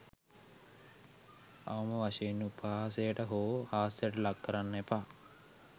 අවම වශයෙන් උපහාසයට හෝ හාස්‍යයට ලක් කරන්න එපා.